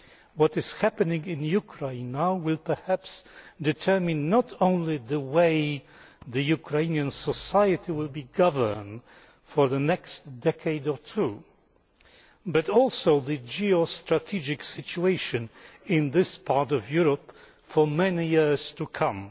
What is happening in Ukraine now will perhaps determine not only the way Ukrainian society will be governed for the next decade or two but also the geo strategic situation in this part of Europe for many years to come.